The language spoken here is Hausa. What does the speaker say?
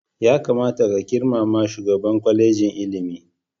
Ya kamata ka girmama shugaban kwalejin ilimin.